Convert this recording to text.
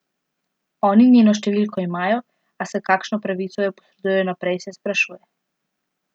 Oni njeno številko imajo, a s kakšno pravico jo posredujejo naprej, se sprašuje.